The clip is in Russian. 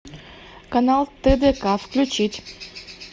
канал тдк включить